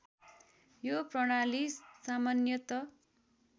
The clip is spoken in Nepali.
यो प्रणाली सामान्यत